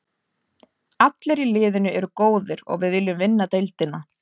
Allir í liðinu eru góðir og við viljum vinna deildina.